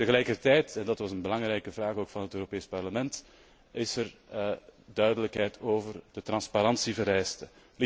Tegelijkertijd en dat was een belangrijke vraag ook van het Europees Parlement is er duidelijkheid over de transparantievereiste.